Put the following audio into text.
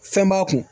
Fɛn b'a kun